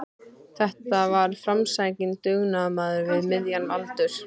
Þetta var framsækinn dugnaðarmaður við miðjan aldur.